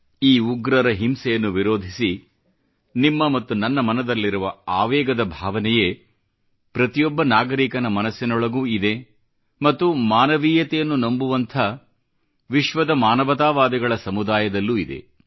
ಈ ಉಗ್ರರ ಹಿಂಸೆಯನ್ನು ವಿರೋಧಿಸಿ ನಿಮ್ಮ ಮತ್ತು ನನ್ನ ಮನದಲ್ಲಿರುವ ಆವೇಗದ ಭಾವನೆಯೇ ಪ್ರತಿಯೊಬ್ಬ ನಾಗರಿಕನ ಮನಸ್ಸಿನೊಳಗೂ ಇದೆ ಮತ್ತು ಮಾನವೀಯತೆಯನ್ನು ನಂಬುವಂಥ ವಿಶ್ವದ ಮಾನವತಾವಾದಿಗಳ ಸಮುದಾಯದಲ್ಲೂ ಇದೆ